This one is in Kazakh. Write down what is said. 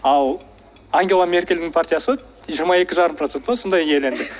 ал ангела меркельдің партиясы жиырма екі жарым процент па сондай иеленді